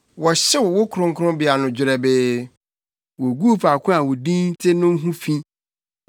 Wɔhyew wo kronkronbea no dwerɛbee; woguu faako a wo Din te no ho fi.